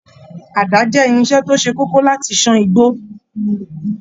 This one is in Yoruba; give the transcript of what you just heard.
Adà jẹ irinṣẹ́ to se kókó láti sàn igbó.